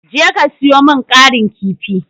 Je ka sayo min ƙarin kifi.